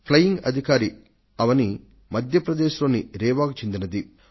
flying officer Avani Madhya Pradesh లోని రీవాకు చెందిన వారు